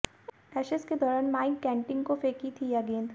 Ashes के दौरान Mike Gatting को फेंकी थी यह गेंद